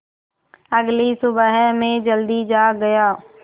अगली सुबह मैं जल्दी जाग गया